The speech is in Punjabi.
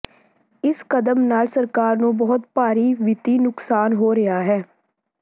ਇਸ ਕਦਮ ਨਾਲ ਸਰਕਾਰ ਨੂੰ ਬਹੁਤ ਭਾਰੀ ਵਿੱਤੀ ਨੁਕਸਾਨ ਹੋ ਰਿਹਾ ਹੈ